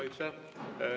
Aitäh!